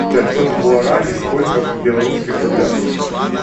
пятьсот гуарани сколько в белорусских рублях